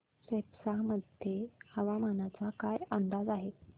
सेप्पा मध्ये हवामानाचा काय अंदाज आहे